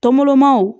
Tɔmolomanw